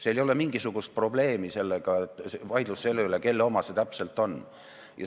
Seal ei ole mingisugust probleemi ega vaidlust selle üle, kelle oma see täpselt on.